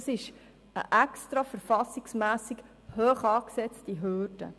Das ist eine verfassungsrechtlich absichtlichhoch angesetzte Hürde.